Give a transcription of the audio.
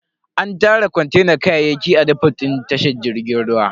An tara kontenan kayayyaki a defot din tashar jirgin ruwan.